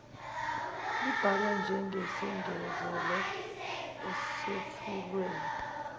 ibalwe njengesengezelo esethulwe